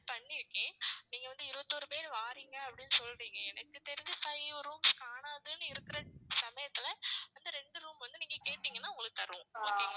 பண்ணிருக்கேன். நீங்க வந்து இருபத்தோரு பேர் வாரீங்க அப்படின்னு சொல்றீங்க எனக்கு தெரிஞ்ச five rooms காணாதுன்னு இருக்கிற சமயத்துல அந்த ரெண்டு room வந்து நீங்க கேட்டீங்கன்னா உங்களுக்கு தர்றோம்